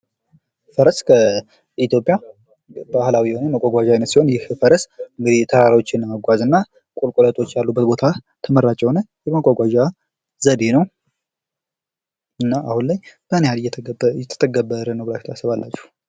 ፈረስ ከኢትዮጵያ ባህላዊ የሆኑ መጓጓዣዎች አይነት ሲሆን ይህ ፈረስ ተራራዎችን ለመጓዝና ቁልቁለቶች ያሉበት ቦታ ተመራጭ የሆነ የመጓጓዣ ዘዴ ነው። እና አሁን ላይ ምን ያህል እየተተገበረ ነው ብላቺሁ ታስባላቺሁ?